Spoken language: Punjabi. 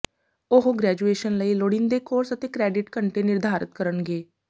ਉਹ ਗ੍ਰੈਜੂਏਸ਼ਨ ਲਈ ਲੋੜੀਂਦੇ ਕੋਰਸ ਅਤੇ ਕਰੈਡਿਟ ਘੰਟੇ ਨਿਰਧਾਰਤ ਕਰਨਗੇ